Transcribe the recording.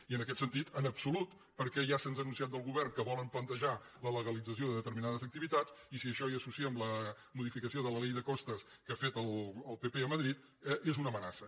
i en aquest sentit en absolut perquè ja se’ns ha anunciat des del govern que volen plantejar la legalització de determinades activitats i si a això hi associem la modificació de la ley de costas que ha fet el pp a madrid és una amenaça